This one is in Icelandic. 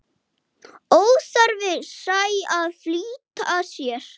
Óþarfi sé að flýta sér.